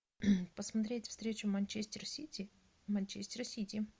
посмотреть встречу манчестер сити манчестер сити